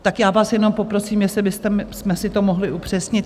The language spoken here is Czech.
Tak já vás jenom poprosím, jestli bychom si to mohli upřesnit.